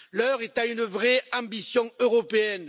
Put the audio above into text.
L'heure est à une vraie ambition européenne.